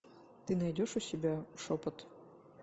ты найдешь у себя шепот